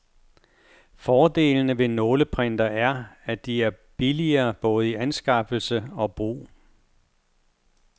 Fordelene ved nåleprintere er, at de er billige både i anskaffelse og brug.